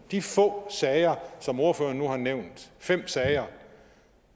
de få sager som ordføreren nu har nævnt fem sager